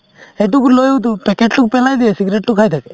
সেইটো কোনেওতো packet তোক পেলাই দিয়ে cigarette তো খাই থাকে